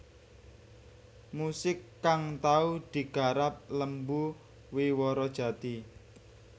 Musik kang tau digarap Lembu Wiworo Jati